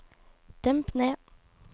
demp ned